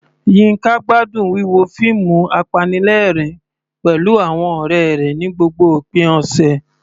Yinka gbádùn wíwo fíìmù apanilẹ́rìn-ín pẹ̀lú àwọn ọ̀rẹ́ rẹ̀ ní gbogbo òpin ọ̀sẹ̀.